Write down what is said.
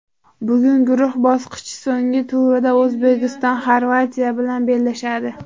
Bugun guruh bosqichi so‘nggi turida O‘zbekiston Xorvatiya bilan bellashadi.